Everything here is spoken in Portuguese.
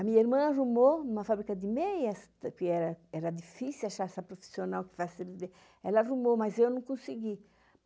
A minha irmã arrumou uma fábrica de meias, porque era difícil achar essa profissional que faz... Ela arrumou, mas eu não consegui.